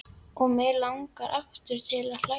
Og mig langar aftur til að hlæja.